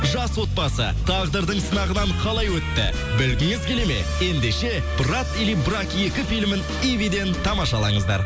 жас отбасы тағдырдың сынағынан қалай өтті білгіңіз келеді ме ендеше брат или брак екі филімін ивиден тамашалаңыздар